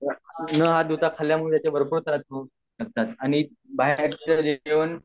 न हात धुता खल्ल्यामुळे तर भरपूर त्रास होऊ शकतात आणि बाहेरचं जे जेवण